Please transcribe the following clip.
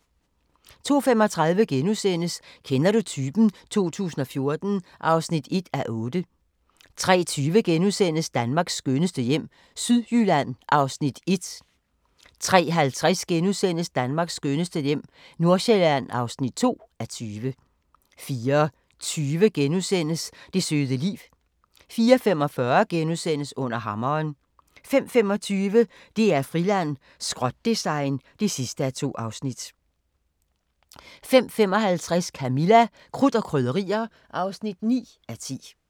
02:35: Kender du typen? 2014 (1:8)* 03:20: Danmarks skønneste hjem - Sydjylland (1:20)* 03:50: Danmarks skønneste hjem - Nordsjælland (2:20)* 04:20: Det søde liv * 04:45: Under hammeren * 05:25: DR-Friland: Skrot-design (2:2) 05:55: Camilla – Krudt og Krydderier (9:10)